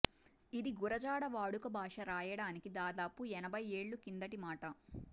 ఇది గురజాడ వాడుక భాష రాయడానికి దాదాపు ఎనభై ఏళ్ళ కిందటి మాట